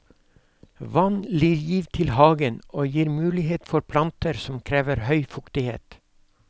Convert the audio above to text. Vann gir liv til hagen, og gir mulighet for planter som krever høy fuktighet.